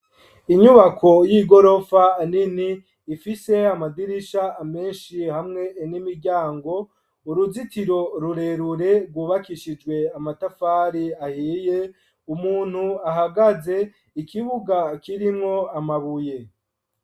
Inyubako y'igorofa nini ifise amadirisha menshi hamwe n'imiryango ,uruzitiro rurerure rwubakishijwe amatafari ahiye ,umuntu ahagaze ,ikibuga kirimwo amabuye.